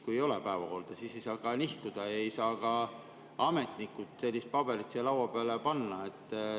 Kui ei ole päevakorda, siis ei saa see ka nihkuda ja ei saa ka ametnikud sellist paberit siia laua peale panna.